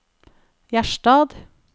Gjerstad